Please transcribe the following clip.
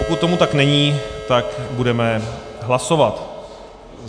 Pokud tomu tak není, tak budeme hlasovat.